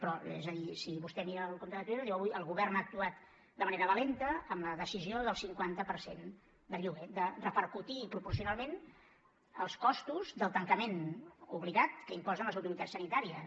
però és a dir si vostè mira el compte de twitter diu avui el govern ha actuat de manera valenta amb la decisió del cinquanta per cent del lloguer de repercutir proporcionalment els costos del tancament obligat que imposen les autoritats sanitàries